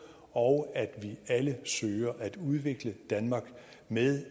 og at vi alle søger at udvikle danmark med